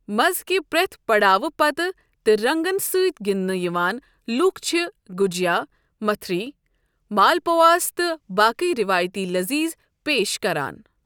مزٕ کہِ پرٛٮ۪تھ پڑاو پتہٕ تہٕ رنگن سۭتۍ گِندنہٕ یِوان لوٗکھ چھِ گجیا، متھری، مالپواس تہٕ باقےٕ روایتی لذیذ پیش کران۔